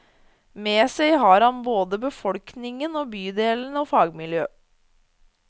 Med seg har han både befolkningen i bydelen og fagmiljø.